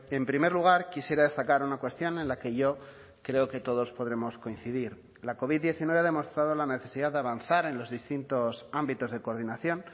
en primer lugar quisiera destacar una cuestión en la que yo creo que todos podremos coincidir la covid diecinueve ha demostrado la necesidad de avanzar en los distintos ámbitos de coordinación